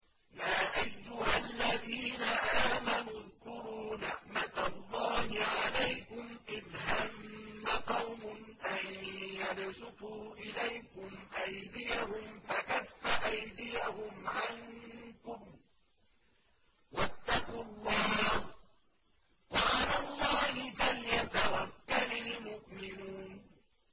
يَا أَيُّهَا الَّذِينَ آمَنُوا اذْكُرُوا نِعْمَتَ اللَّهِ عَلَيْكُمْ إِذْ هَمَّ قَوْمٌ أَن يَبْسُطُوا إِلَيْكُمْ أَيْدِيَهُمْ فَكَفَّ أَيْدِيَهُمْ عَنكُمْ ۖ وَاتَّقُوا اللَّهَ ۚ وَعَلَى اللَّهِ فَلْيَتَوَكَّلِ الْمُؤْمِنُونَ